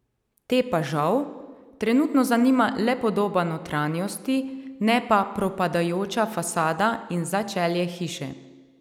Te pa, žal, trenutno zanima le podoba notranjosti, ne pa propadajoča fasada in začelje hiše.